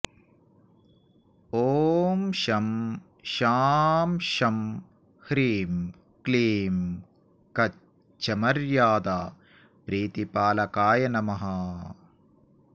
ॐ शं शां षं ह्रीं क्लीं कच्छमर्यादाप्रीतिपालकाय नमः